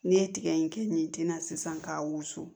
N'i ye tiga in kɛ nin tin na sisan k'a wusu